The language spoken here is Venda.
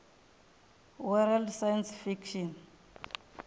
world science fiction